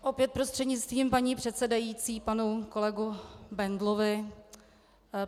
Opět prostřednictvím paní předsedající panu kolegovi Bendlovi.